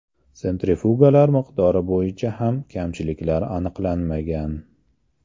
Sentrifugalar miqdori bo‘yicha ham kamchiliklar aniqlanmagan.